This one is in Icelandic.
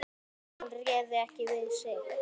Hún réði ekki við sig.